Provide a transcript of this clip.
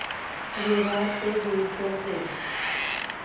विरार ते बोईसर ट्रेन